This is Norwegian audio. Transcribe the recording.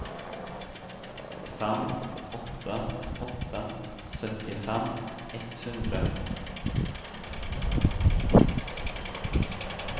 fem åtte åtte åtte syttifem ett hundre